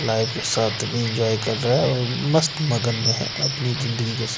life के साथ भी इंजॉय कर रहा है और मस्त मगन में है अपनी जिंदगी के सा --